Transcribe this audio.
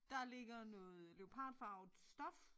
Der ligger noget leopardfarvet stof